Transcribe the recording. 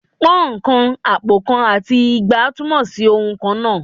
Pọ́ùn kan, àpò kan, àti igba túmọ̀ sí ohùn kan náà